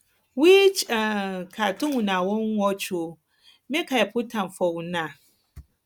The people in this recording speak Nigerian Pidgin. which um cartoon una wan watch um make i put am for una um